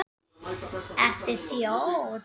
Hvernig fannst þér liðið standa sig?